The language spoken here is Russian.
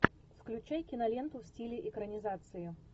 включай киноленту в стиле экранизации